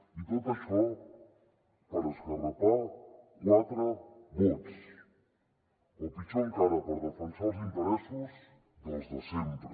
i tot això per esgarrapar quatre vots o pitjor encara per defensar els interessos dels de sempre